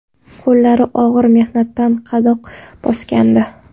Qo‘llari og‘ir mehnatdan qadoq bosgandi.